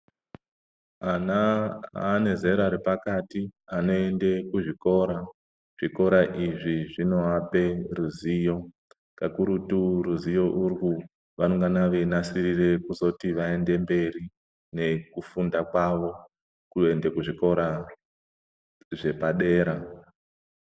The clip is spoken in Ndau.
Ana ane zera repakati anoende kuzvikora. Zvikora izvi zvinovape ruzivo, kakurutu ruzivo urwu vanenge veinasirire kuzoti vaende mberi nekufunda kwavo kwezvikora zvepadera.